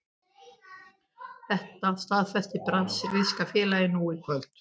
Þetta staðfesti brasilíska félagið nú í kvöld.